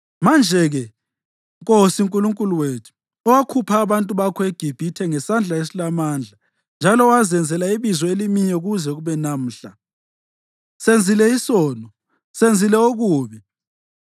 Manje-ke, Nkosi Nkulunkulu wethu, owakhupha abantu bakho eGibhithe ngesandla esilamandla njalo owazenzela ibizo elimiyo kuze kube namhla, senzile isono, senzile okubi.